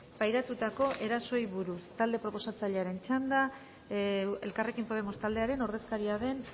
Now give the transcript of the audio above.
pairatutako erasoei buruz talde proposatzailearen txanda elkarrekin podemos taldearen ordezkaria den